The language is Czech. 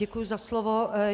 Děkuji za slovo.